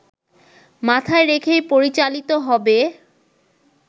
মাথায় রেখেই পরিচালিত হবে